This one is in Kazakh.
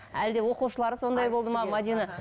әлде оқушылары сондай болды ма мәдина